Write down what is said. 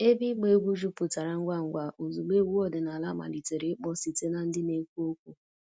Ebe ịgba egwu jupụtara ngwa ngwa ozugbo egwu ọdịnala malitere ịkpọ site na ndị na-ekwu okwu